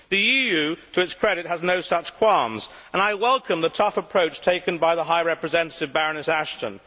The EU, to its credit, has no such qualms, and I welcome the tough approach taken by the High Representative, Baroness Ashton.